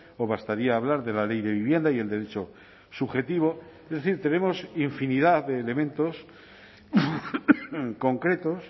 o bastaría hablar de la ley de vivienda y el derecho subjetivo es decir tenemos infinidad de elementos concretos